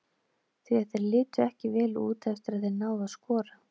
Því að þeir litu ekki vel út eftir að þeir náðu að skora.